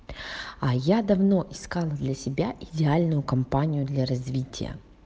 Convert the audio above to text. а я давно искал для себя идеальную компанию для развития